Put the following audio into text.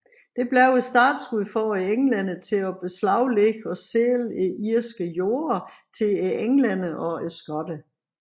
Det blev startskuddet for englænderne til at beslaglægge og sælge irske jorder til englændere og skotter